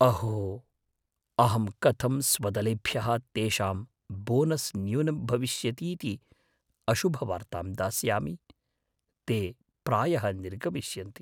अहो, अहं कथं स्वदलेभ्यः तेषां बोनस् न्यूनं भविष्यतीति अशुभवार्तां दास्यामि? ते प्रायः निर्गमिष्यन्ति।